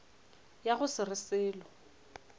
ya go se re selo